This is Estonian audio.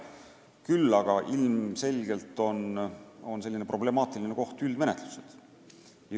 Küll aga on ilmselgelt problemaatilised üldmenetlused.